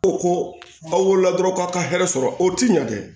Ko ko n'aw wolola dɔrɔn k'aw ka hɛrɛ sɔrɔ o ti ɲɛ dɛ